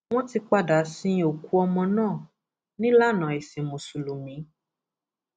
wọn ti padà sin òkú ọmọ náà nílànà ẹsìn mùsùlùmí